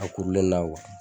A kurulen na